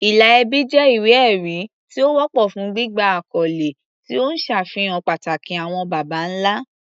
Ìlà ẹbí jẹ́ ìwé-ẹ̀rí tí ó wọ́pọ̀ fún gbígba àkọ́lé, tí ó ń ṣàfihàn pàtàkì àwọn baba ńlá.